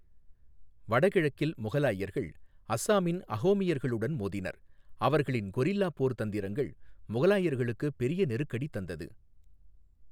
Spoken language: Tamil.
வடகிழக்கில், முகலாயர்கள் அஸ்ஸாமின் அஹோமியர்களுடன் மோதினர், அவர்களின் கொரில்லா போர் தந்திரங்கள் முகலாயர்களுக்கு பெரிய நெருக்கடி தந்தது.